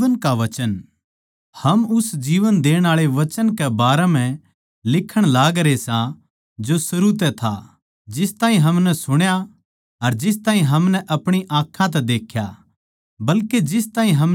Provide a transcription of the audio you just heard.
हम उस जीवन देण आळे वचन कै बारें म्ह लिखण लागरे सां जो शुरु तै था जिस ताहीं हमनै सुण्या अर जिस ताहीं हमनै अपणी आँखां तै देख्या बल्के जिस ताहीं हमनै ध्यान तै देख्या अर हाथ्थां तै छुआ